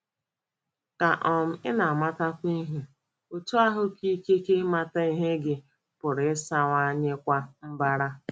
Ka um ị na - amatakwu ihe, otú ahụ ka ikike ịmata ihe gị pụrụ ịsawanyekwa mbara. ”